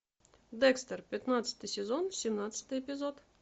декстер пятнадцатый сезон семнадцатый эпизод